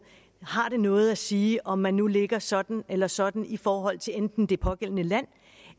har det noget at sige om man nu ligger sådan eller sådan i forhold til enten det pågældende land